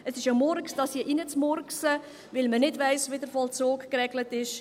Es ist ein Murks, dies hier hineinzumurksen, weil man nicht weiss, wie der Vollzug geregelt ist.